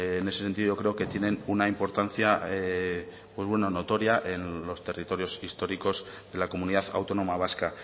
en ese sentido creo que tienen una importancia pues bueno notoria en los territorios históricos de la comunidad autónoma vasca